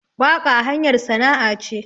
Waƙa hanyar sana'a ce